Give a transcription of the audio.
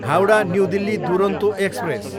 Howrah, New Delhi Duronto express